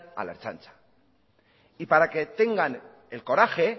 a la ertzaintza y para que tengan el coraje